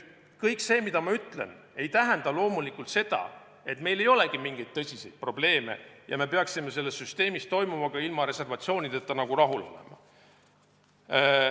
Kõik see, mida ma ütlen, ei tähenda loomulikult seda, et meil ei olegi mingeid tõsiseid probleeme ja me peaksime selles süsteemis toimuvaga ilma reservatsioonideta rahul olema.